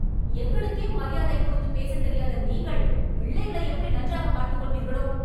எங்களுக்கே மரியாதை கொடுத்து பேசத் தெரியாத நீங்கள், பிள்ளைகளை எப்படி நன்றாகப் பார்த்துக்கொள்வீர்களோ